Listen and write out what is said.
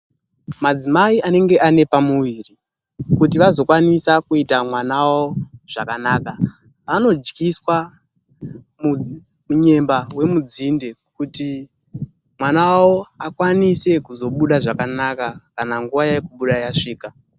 Madzimai anenge ane pamuviri ,kuti vazokwanisa kuita mwana wavo zvakanaka ,vanodyiswa munyemba wemudzinde kuti mwana wavo akwanise kuzobuda zvakanaka kana nguwa yekubuda yasvika.